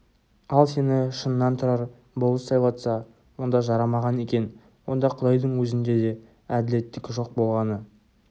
ал сені шыннан тұрар болыс сайлатса онда жарамаған екен онда құдайдың өзінде де әділеттік жоқ болғаны